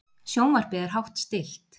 Sjónvarpið er hátt stillt.